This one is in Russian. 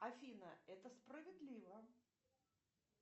афина это справедливо